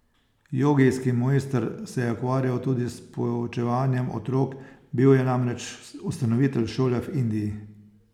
Jogijski mojster se je ukvarjal tudi s poučevanjem otrok, bil je namreč ustanovitelj šole v Indiji.